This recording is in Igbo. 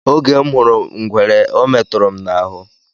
Oge m hụrụ ngwere ọ meturu m n'ahụ.